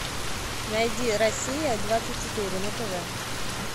найди россия двадцать четыре на тв